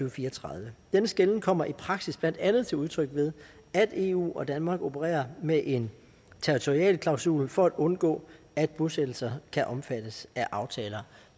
og fire og tredive denne skelnen kommer i praksis blandt andet til udtryk ved at eu og danmark opererer med en territorialklausul for at undgå at bosættelser kan omfattes af aftaler